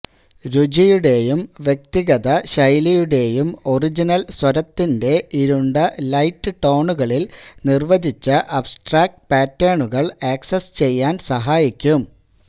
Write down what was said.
രുചിയുടെയും വ്യക്തിഗത ശൈലിയുടെയും ഒറിജിനൽ സ്വരത്തിന്റെ ഇരുണ്ട ലൈറ്റ് ടോണുകളിൽ നിർവ്വചിച്ച അബ്സ്ട്രാക് പാറ്റേണുകൾ ആക്സസ് ചെയ്യാൻ സഹായിക്കും